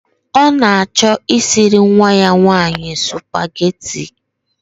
Ọ na-achọ isiri nwa ya nwanyị spugeetí i